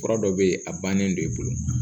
Fura dɔ bɛ yen a bannen do i bolo